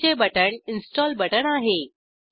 अधिकचे button install button आहे